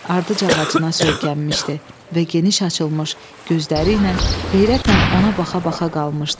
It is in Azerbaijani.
Ardıc ağacına söykənmişdi və geniş açılmış gözləri ilə heyrətlə ona baxa-baxa qalmışdı.